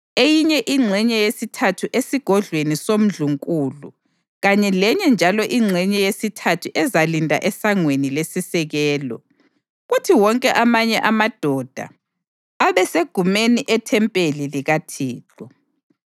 eyinye ingxenye yesithathu esigodlweni somndlunkulu kanye lenye njalo ingxenye yesithathu ezalinda eSangweni leSisekelo, kuthi wonke amanye amadoda abesemagumeni ethempeli likaThixo.